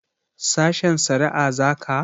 Sashen shari'a za ka?